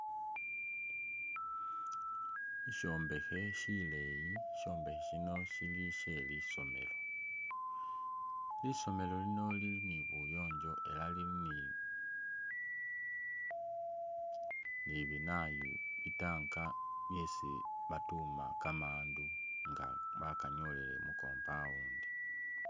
Shi shombekhe shileyi shombekhe shino shili shelisomelo lisomelo lino lili nibuyongyo ela lili ni binayu bi tanka mwesi batuma kamandu nga bakanyolele mu compund.